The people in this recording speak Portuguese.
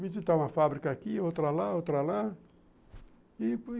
visitar uma fábrica aqui, outra lá, outra lá. E